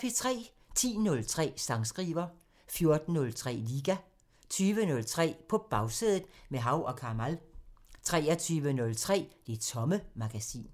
10:03: Sangskriver 14:03: Liga 20:03: På Bagsædet – med Hav & Kamal 23:03: Det Tomme Magasin